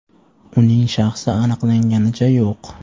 Uning shaxsi aniqlanganicha yo‘q.